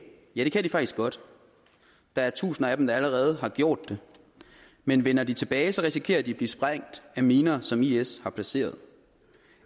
ja det kan de faktisk godt der er tusinde af dem der allerede har gjort det men vender de tilbage risikerer de at blive sprængt af miner som is har placeret